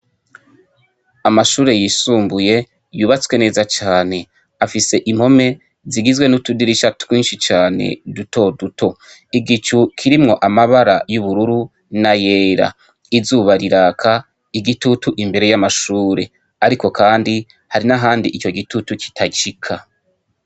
Amashure yisumbuye yubatswe neza cane afise impome zigizwe n'utudirisha twinshi cane duto duto igicu kirimwo amabara y'ubururu na yera izuba riraka igitutu imbere y'amashure, ariko, kandi hari n'ahandi ico gitutu kitacika.